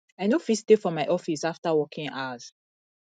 i no go fit stay for my office after working hours